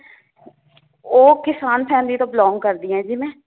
ਉਹ ਕਿਸਾਨ family ਤੋਂ belong ਕਰਦੀ ਹਾਂ ਜੀ ਮੈ